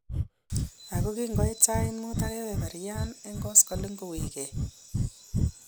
Ako kinkoiit sayiit muut ak kebeberyaan en koskoliny kokiweek.